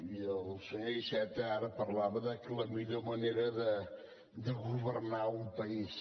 i el senyor iceta ara parlava de que la millor manera de governar un país